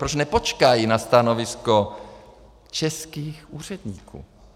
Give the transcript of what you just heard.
Proč nepočkají na stanovisko českých úředníků?